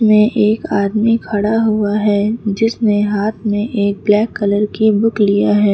में एक आदमी खड़ा हुआ है जिसने हाथ में एक ब्लैक कलर की बुक लिया है।